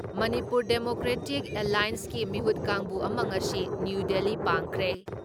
Manipur democratic ꯑꯦꯜꯂꯥꯏꯌꯦꯟꯁꯀꯤ ꯃꯤꯍꯨꯠ ꯀꯥꯡꯕꯨ ꯑꯃ ꯉꯁꯤ ꯅ꯭ꯌꯨ ꯗꯤꯜꯂꯤ ꯄꯥꯡꯈ꯭ꯔꯦ ꯫